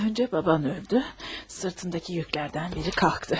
Öncə baban öldü, sırtındakı yüklərdən biri qalxdı.